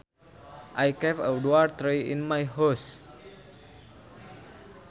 I kept a dwarf tree in my house